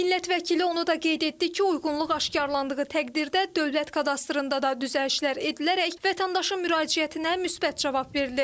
Millət vəkili onu da qeyd etdi ki, uyğunluq aşkarladığı təqdirdə dövlət kadastrında da düzəlişlər edilərək vətəndaşın müraciətinə müsbət cavab verilir.